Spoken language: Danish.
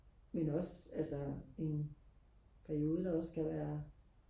men også altså en periode der også kan være